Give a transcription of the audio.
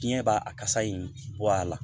Diɲɛ b'a a kasa in bɔ a la